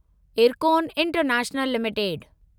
IRCON international limited